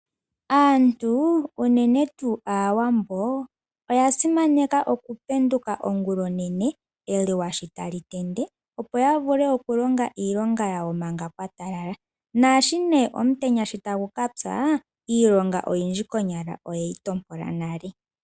Aantu unene tuu Aawambo oyasimaneka okupenduka ongulonene, eluwa sho tali tende , opo yavule okulonga iilonga yawo manga kwatalala. Naashi omutenya tagu ka pya iilonga oyindji konyala oyeyi tompola nale.